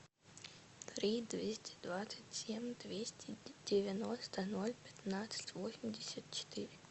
три двести двадцать семь двести девяносто ноль пятнадцать восемьдесят четыре